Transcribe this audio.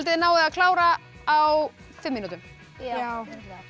þið náið að klára á fimm mínútum já